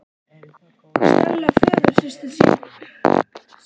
Stella föðursystir þín sagði mér líka aðra sögu af